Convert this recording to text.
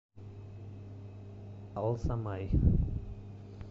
алзамай